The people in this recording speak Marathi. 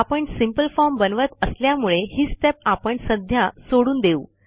आपण सिंपल फॉर्म बनवत असल्यामुळे ही स्टेप आपण सध्या सोडून देऊ